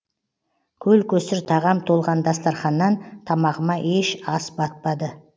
көл көсір тағам толған дастарханнан тамағыма еш ас батпады